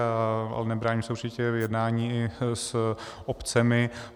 A nebráním se určitě v jednání i s obcemi.